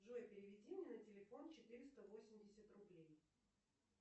джой переведи мне на телефон четыреста восемьдесят рублей